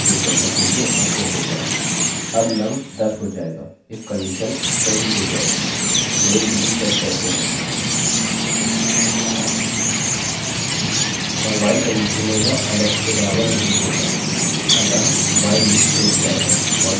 नामname billy set करते है और while कंडीशन में यह एलेक्सalex के बराबर नहीं होगा अतः while लूपloopरूक जाएगा और नीचे यहाँ कोड जारी रहेगा